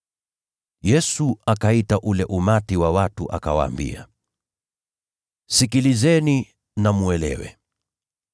Yesu akaita ule umati wa watu, akawaambia, “Sikilizeni na mwelewe: